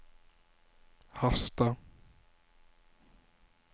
Harstad